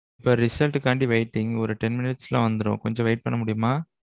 இப்போ result காண்டி waiting. ஓரு ten minutes ல வந்திரும் கொஞ்ச wait பண்ண முடியுமா?